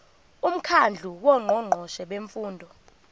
umkhandlu wongqongqoshe bemfundo